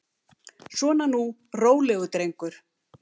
Svona nú, rólegur drengur.